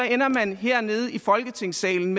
hernede i folketingssalen